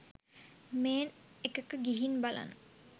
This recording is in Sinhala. මේන් එකක ගිහින් බලන්න